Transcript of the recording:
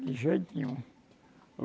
De jeito nenhum.